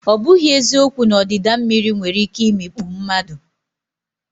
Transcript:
Ọ bụghị eziokwu na ọdịda mmiri nwere ike imikpu mmadụ.